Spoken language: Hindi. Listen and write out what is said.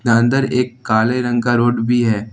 एक काले रंग का रोड भी है।